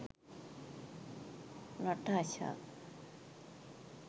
natasha